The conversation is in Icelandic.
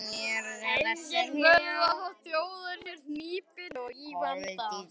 Engin furða þótt þjóðin sé hnípin og í vanda.